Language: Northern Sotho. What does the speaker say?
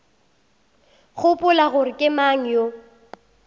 gopola gore ke mang yo